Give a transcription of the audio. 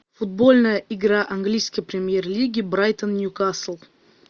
футбольная игра английской премьер лиги брайтон ньюкасл